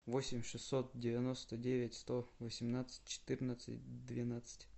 восемь шестьсот девяносто девять сто восемнадцать четырнадцать двенадцать